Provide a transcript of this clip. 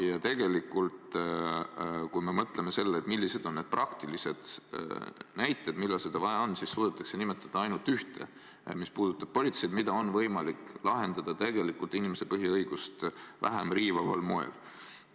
Ja tegelikult, kui me mõtleme, millised on need praktilised olukorrad, millal seda vaja võiks olla, siis suudetakse nimetada ainult ühte, mis puudutab politseid ja mida on võimalik lahendada inimese põhiõigust vähem riivaval moel.